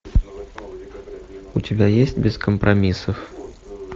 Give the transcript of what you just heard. у тебя есть без компромиссов